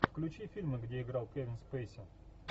включи фильмы где играл кевин спейси